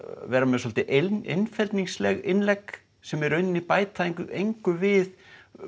vera með svolítið einfeldningsleg innlegg sem í raun bæta engu engu við